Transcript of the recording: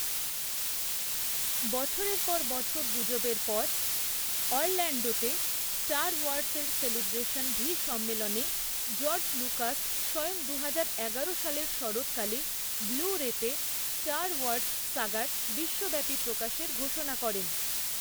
বছরের পর বছর গুজবের পর, অরল্যাণ্ডোতে স্টার ওয়ার্সের সেলিব্রেশন ভি সম্মেলনে জর্জ লুকাস স্বয়ং দুহাজার এগারো সালের শরৎকালে ব্লু রেতে স্টার ওয়ার্স সাগার বিশ্বব্যাপী প্রকাশের ঘোষণা করেন।